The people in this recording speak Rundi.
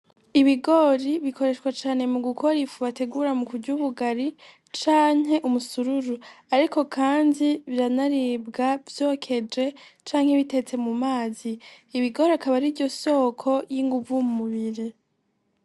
Ibigori bikoreshwa cane mu gukora ifu bategura mu kurya ubugari canke umusururu, ariko kandi biranabirya vyokeje canke bitetse mu mazi. Ibigori akaba ari ryo soko ry'inguvu mu mubiri.